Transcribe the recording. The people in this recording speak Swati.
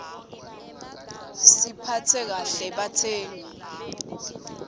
sibaphatse kahle batsengi